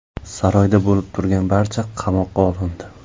Saroyda bo‘lib turgan barcha qamoqqa olindi.